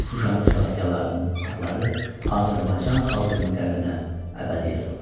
Şuşanın xilaskarlarının adları Azərbaycan xalqının qəlbinə əbədi yazıldı.